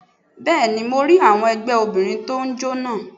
Bẹ́ẹ̀ni mo rí àwọn ẹgbẹ́ Obìnrin tó n jó naa